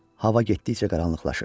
Hava getdikcə qaranlıqlaşırdı.